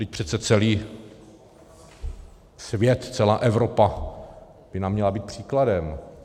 Vždyť přece celý svět, celá Evropa by nám měla být příkladem.